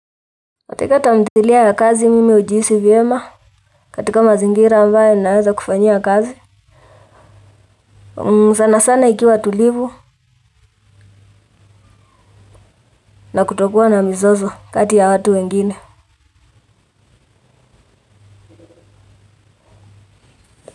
Katika tamthilia ya kazi mimi ujihisi vyema katika mazingira ambaye naweza kufanyia kazi. Sana sana ikiwa tulivu na kutokua na mzozo kati ya watu wengine.